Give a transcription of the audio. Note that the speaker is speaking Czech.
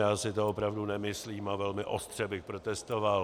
Já si to opravdu nemyslím a velmi ostře bych protestoval.